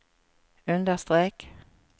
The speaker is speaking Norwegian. understrek